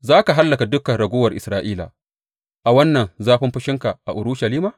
Za ka hallaka dukan raguwar Isra’ila a wannan zafin fushinka a Urushalima?